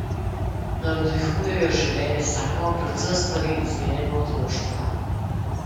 Navdihuje jo življenje samo, predvsem stvari iz njenega otroštva.